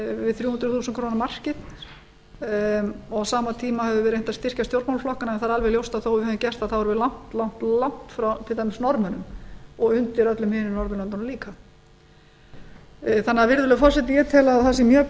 við þrjú hundruð þúsund króna markið og á sama tíma höfum við reynt að styrkja stjórnmálaflokkana en það er alveg ljóst að þó að við hefðum gert það þá erum við langt frá til dæmis norðmönnum og undir öllum hinum norðurlöndunum líka virðulegur forseti ég tel að það sé mjög